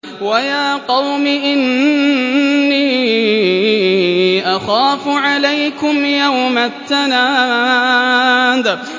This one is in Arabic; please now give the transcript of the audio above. وَيَا قَوْمِ إِنِّي أَخَافُ عَلَيْكُمْ يَوْمَ التَّنَادِ